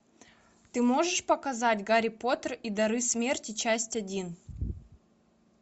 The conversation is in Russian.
ты можешь показать гарри поттер и дары смерти часть один